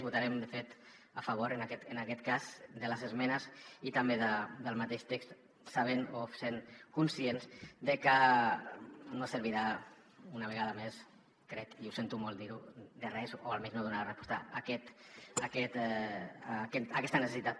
votarem de fet a favor en aquest cas de les esmenes i també del mateix text sabent o sent conscients de que no servirà una vegada més crec i sento molt dir ho de res o almenys no donarà resposta a aquesta necessitat